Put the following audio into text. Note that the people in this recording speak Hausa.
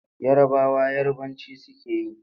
Yarabawa Yarabanci suke yi.